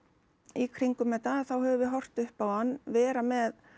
í kringum þetta þá höfðum við horft upp á hann vera með